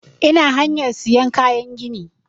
Ina hanyar sayan kayan gini